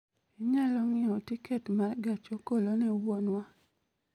Inyalo ng'iewo tiket ma gach okolone wuonwa